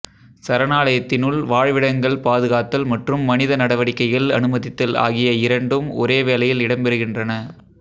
சரணாலயத்தினுள் வாழ்விடங்கள் பாதுகாத்தல் மற்றும் மனித நடவடிக்கைகள் அனுமதித்தல் ஆகிய இரெண்டும் ஒரே வேளையில் இடம்பெறுகின்றன